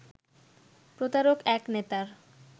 প্রতারক এক নেতার